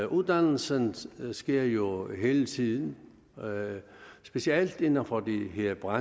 uddannelse sker jo helt tiden og specielt inden for bygge og